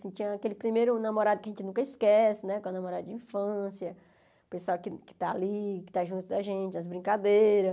Tinha aquele primeiro namorado que a gente nunca esquece né, com a namorada de infância, o pessoal que está ali, que está junto da gente, as brincadeiras.